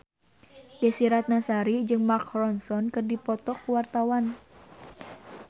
Desy Ratnasari jeung Mark Ronson keur dipoto ku wartawan